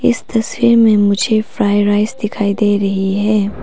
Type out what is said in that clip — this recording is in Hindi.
इस तस्वीर में मुझे फ्राई राइस दिखाई दे रही है।